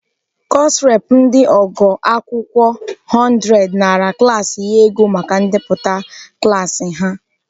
Kọsụ rep ndị ogo agụmakwụkwọ 100 nara klaasị ya ego maka ndepụta klaasị ha.